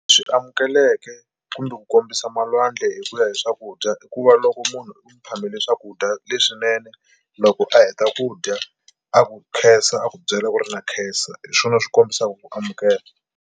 Swi amukeleke kumbe ku kombisa malwandla hi ku ya hi swakudya i ku va loko munhu u n'wi phamela swakudya leswinene loko a heta ku dya a ku khensa a ku byela ku ri na khensa hi swona swi kombisaka ku amukela.